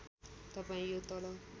तपाईँ यो तल